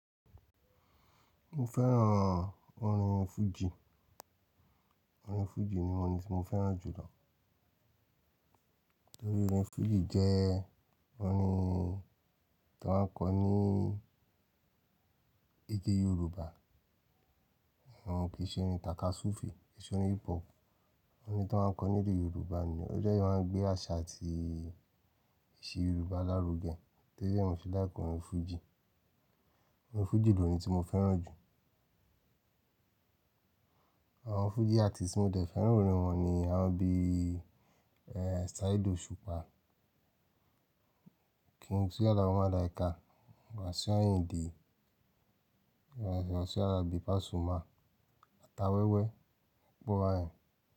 Mo fẹ́ràn orin Fuji. Orin Fuji ni orin tí mo fẹ́ràn jù lọ. Nítorí orin Fuji jẹ́ orin tí wọ́n ń kọ ní èdè Yorùbá. Kì í ṣe orin takasufe, ki i ṣe orin hip hop, orin tí wọ́n ń kọ ní èdè Yorùbá ni. O jẹ́ máa ń gbé àṣà àti ìṣe Yorùbá lárugẹ. Torí náà mo se like orin Fuji. Orin Fuji ni orin tí mo fẹ́ràn jù. Àwọn Fuji artist tí mo dẹ̀ fẹ́ràn orin wọn ni àwọn bí i, eh, Saheed Osupa, King Tunji Alao Malaika, Wasiu Ayinde, Wasiu Alabi Pasuma, Atawẹwẹ, Ọpọ bayen.